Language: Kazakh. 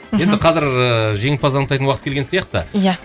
мхм енді қазір ыыы жеңімпазды анықтайтын уақыт келген сияқты иә